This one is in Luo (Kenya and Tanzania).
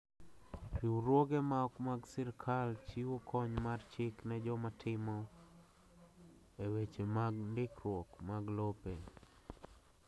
Riwruoge ma ok mag sirkal chiwo kony mar chik ne joma timo e weche mag ndikruok mag lope.